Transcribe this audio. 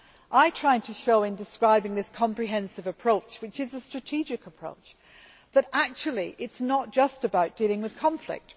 I tried to show, in describing this comprehensive approach which is a strategic approach, that actually it is not just about dealing with conflict.